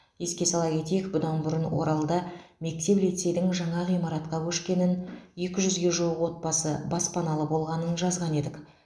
еске сала кетейік бұдан бұрын оралда мектеп лицейдің жаңа ғимаратқа көшкенін екі жүзге жуық отбасы баспаналы болғанын жазған едік